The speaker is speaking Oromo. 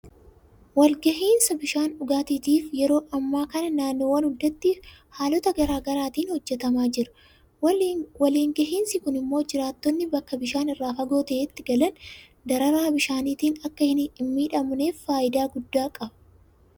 Waliingahinsa bishaan dhugaatiitiif yeroo ammaa kana naannoowwan hundatti haalota garaa garaatiin hojjetamaa jira. Waliin gahinsi kun immoo jiraattonni bakka bishaan irraa fagoo ta'etti galan dararaa bishaaniitiin akka hinmiidhamneef faayidaa guddaa qaba.